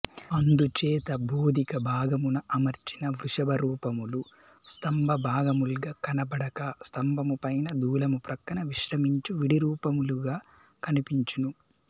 అందుచేత బోధిక భాగమున అమర్చిన వృషభరూపములు స్తంభభాగముల్గా కనబడక స్తమభముపైన దూలము ప్రక్కన విశ్రమించు విడిరూపములుగా కనిపించును